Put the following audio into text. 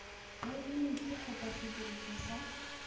ya yuniti kgotsa sediriswa sa